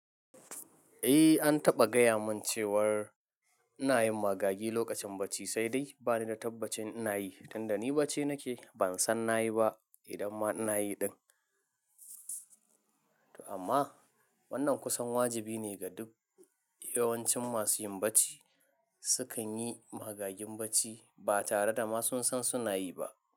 Eh, an taɓa gaya min cewar inayi magagi lokacin bacci, sai dai bani da tabbacin inayi, tunda ni bacci nake ban san nayi ba idan ma inayi din. Amma wannan kusan wajibi ne ga duk yawancin masu yin bacci, sukan yi magagin bacci ba tare da ma sun san suna yi ba.